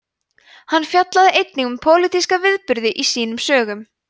hann fjallaði einnig um pólitíska viðburði í sínum sögum